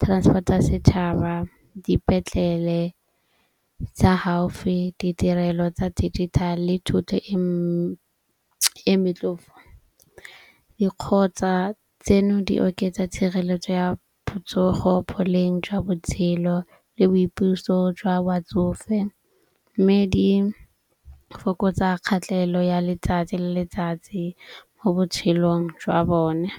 transport ya setšhaba, dipetlele tsa haufi, ditirelo tsa digital-e, thuto e e motlhofo. Dikgotsa tseno di oketsa tshireletso ya botsogo, boleng jwa botshelo le boipuso jwa batsofe. Mme di fokotsa kgatelelo ya letsatsi le letsatsi mo botshelong jwa bone.